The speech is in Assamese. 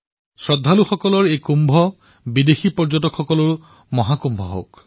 শ্ৰদ্ধাৱান সকলৰ এই কুম্ভ বিশ্বজনীন পৰ্যটনৰ মহাকুম্ভ হওক